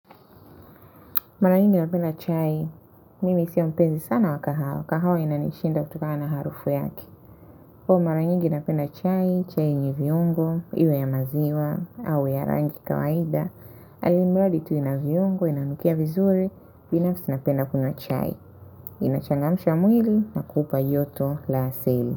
Mara nyingi napenda chai mimi sio mpezi sana wa kahawa kahawa inanishinda kutokana harufu yake. Kwahiyo mara nyingi napenda chai chai yenye viungo iwe ya maziwa, au ya rangi kawaida, ali mradi tu ina viungo inanukia vizuri binafsi napenda kunywa chai. Inachangamsha wa mwili na kukupa joto la asili.